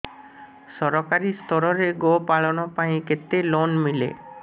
ସରକାରୀ ସ୍ତରରେ ଗୋ ପାଳନ ପାଇଁ କେତେ ଲୋନ୍ ମିଳେ